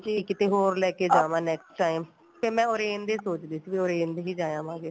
ਜੇ ਕਿੱਥੇ ਹੋਰ ਲੈਕੇ ਜਾਵਾ next time ਫੇਰ ਮੈਂ ਸੋਚਦੀ ਸੀ orange ਦੇ ਹੀ ਜਾਏ ਆਵਾਗੇ